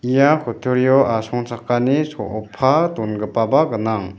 ia kutturio asongchakani soopa dongipaba gnang.